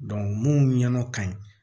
mun ɲɛna ka ɲi